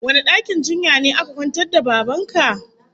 Wane dakin jinya ne aka kwantar da Baban ka?